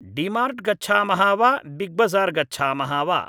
डिमार्ट् गच्छामः वा बिग्बज़ार् गच्छामः वा